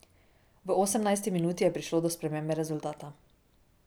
V osemnajsti minuti je prišlo do spremembe rezultata.